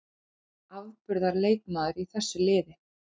Afburðar leikmaður í þessu liði.